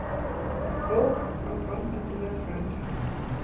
Ók á gangandi vegfaranda